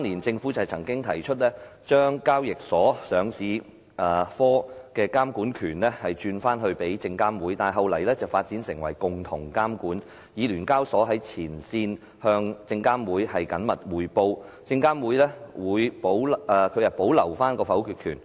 政府曾在2003年建議把交易所上市科的監管權轉回證監會，但後來發展成為共同監管，以聯交所在前線向證監會緊密匯報，證監會保留否決權。